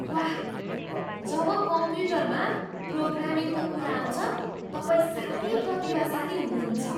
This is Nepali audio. वाह! जब कम्प्युटरमा प्रोग्रामिङको कुरा आउँछ तपाईँ साह्रै प्रतिभाशाली हुनुहुन्छ।